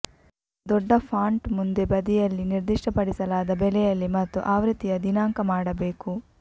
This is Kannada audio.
ದೊಡ್ಡ ಫಾಂಟ್ ಮುಂದೆ ಬದಿಯಲ್ಲಿ ನಿರ್ದಿಷ್ಟಪಡಿಸಲಾದ ಬೆಲೆಯಲ್ಲಿ ಮತ್ತು ಆವೃತ್ತಿಯ ದಿನಾಂಕ ಮಾಡಬೇಕು